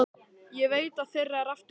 Ég veit að þeirra er aftur von.